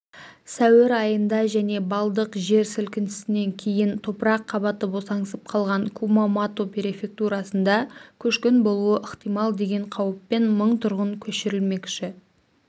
сәуір айында және балдық жер сілкінісінен кейін топырақ қабаты босаңсып қалған кумамото префектурасында көшкін болуы ықтимал деген қауіппен мың тұрғын көшірілмекші